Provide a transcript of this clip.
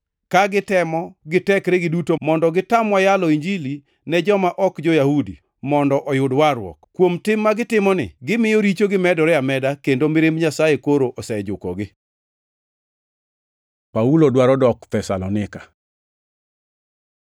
ka gitemo gi tekregi duto mondo gitamwa yalo Injili ne joma ok jo-Yahudi mondo oyud warruok. Kuom tim ma gitimoni, gimiyo richogi medore ameda kendo mirimb Nyasaye koro osejukogi! Paulo dwaro dok Thesalonika